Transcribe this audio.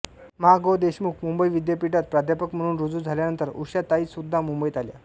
मा गो देशमुख मुंबई विद्यापीठात प्राध्यापक म्हणून रुजू झाल्यानंतर उषाताईसुद्धा मुंबईत आल्या